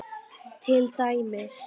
Til dæmis